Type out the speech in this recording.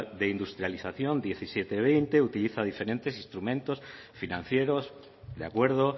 de industrialización diecisiete veinte utiliza diferentes instrumentos financieros de acuerdo